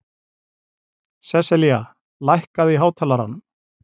Seselía, lækkaðu í hátalaranum.